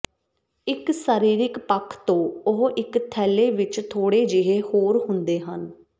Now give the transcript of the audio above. ਇਕ ਸਰੀਰਕ ਪੱਖ ਤੋਂ ਉਹ ਇਕ ਥੈਲੇ ਵਿਚ ਥੋੜੇ ਜਿਹੇ ਹੋਰ ਹੁੰਦੇ ਹਨ